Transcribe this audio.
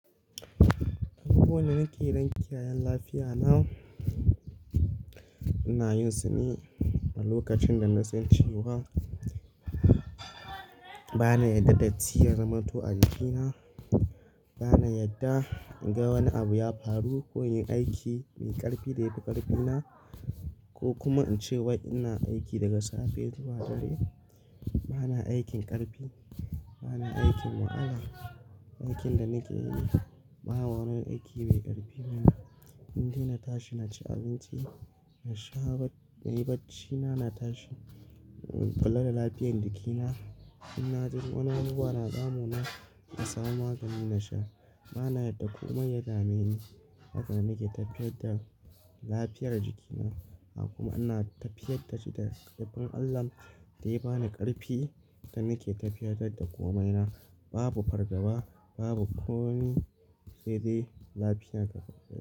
Duk wanda nake dan kiyaye lafiya na, ina yin su ne a lokacin da na san cewa bana yarda datti ya zamanto a jikina. Bana yarda in ga wani abu ya faru ko in yi aiki mai ƙarfi da ya fi ƙarfina ko kuma in ce wa ina aiki daga safe zuwa dare. Bana aikin ƙarfi, bana aikin wahala. Aikin da nake yi babu wani aiki mai ƙarfi. Inda ina tashi na ci abinci, na sha inyi baccina, na tashi kula da lafiyar jikina. In na ji wani abubuwa na damu na, na samu magani na sha. Bana yarda komai ya dame ni. Hakan nake tafiyar da lafiyar jikina. Haka kuma ina tafiyar da shi da ƙarfin Allah da ya ba ni ƙarfi da nake tafiyar da da komaina. Babu fargaba, babu komi saidai lafiya ta.